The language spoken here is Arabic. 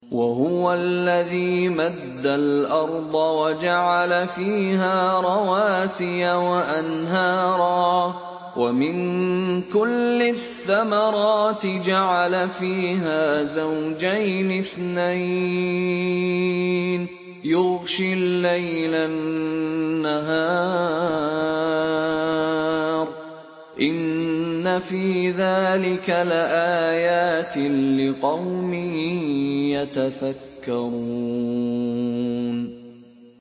وَهُوَ الَّذِي مَدَّ الْأَرْضَ وَجَعَلَ فِيهَا رَوَاسِيَ وَأَنْهَارًا ۖ وَمِن كُلِّ الثَّمَرَاتِ جَعَلَ فِيهَا زَوْجَيْنِ اثْنَيْنِ ۖ يُغْشِي اللَّيْلَ النَّهَارَ ۚ إِنَّ فِي ذَٰلِكَ لَآيَاتٍ لِّقَوْمٍ يَتَفَكَّرُونَ